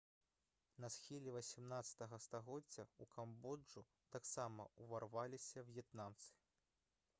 на схіле 18 стагоддзя ў камбоджу таксама ўварваліся в'етнамцы